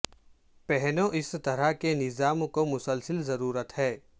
پہنو اس طرح کے نظام کو مسلسل ضرورت ہے